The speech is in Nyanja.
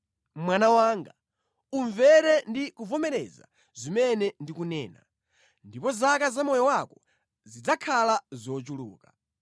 Mwana wanga, umvere ndi kuvomereza zimene ndikunena, ndipo zaka za moyo wako zidzakhala zochuluka.